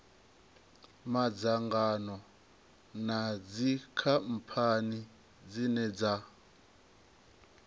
madzangano na dzikhamphani dzine dza